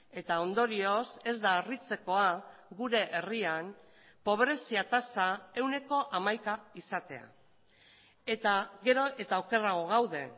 eta ondorioz ez da harritzekoa gure herrian pobrezia tasa ehuneko hamaika izatea eta gero eta okerrago gaude